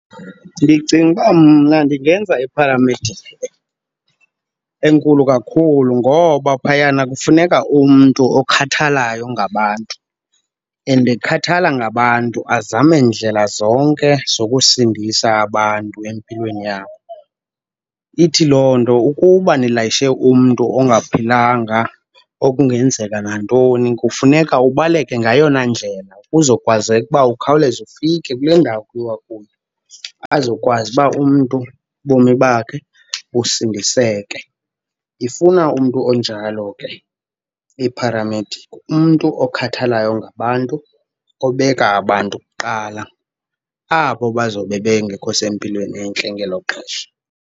Ndicinga uba mna ndingenza ipharamedikhi enkulu kakhulu ngoba phayana kufuneka umntu okhathalayo ngabantu and ekhathala ngabantu azame ndlela zonke zokusindisa abantu empilweni yabo. Ithi loo nto ukuba nilayishe umntu ongaphilanga okungenzeka nantoni kufuneka ubaleke ngayona ndlela kuzokwazeka uba ukhawuleze ufike kule ndawo kuyiwa kuyo, azokwazi uba umntu ubomi bakhe busindiseke. Ifuna umntu onjalo ke ipharamedikhi, umntu okhathalayo ngabantu obeka abantu kuqala, abo bazowube bengekho sempilweni entle ngelo xesha.